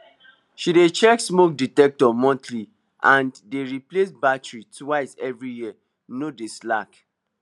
she dey check smoke detector monthly and dey replace battery twice every year no dey slack